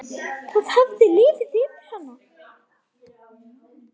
Það hafði liðið yfir hana!